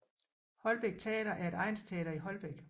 Holbæk Teater er et egnsteater i Holbæk